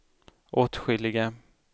åtskilliga